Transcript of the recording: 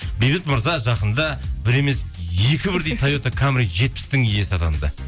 бейбіт мырза жақында бір емес екі бірдей тойота камри жетпістің иесі атанды